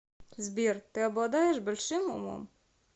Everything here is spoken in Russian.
сбер ты обладаешь большим умом